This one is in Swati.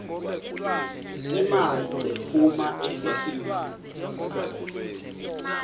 imali lephuma ekhikhini